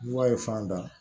Wula ye fan da